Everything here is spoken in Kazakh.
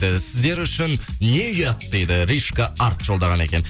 і сіздер үшін не ұят дейді ришко арт жолдаған екен